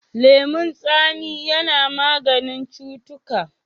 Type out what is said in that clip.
Lemon tsami ya na maganin cutuka.